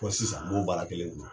Fo sisan n bo baara kelen don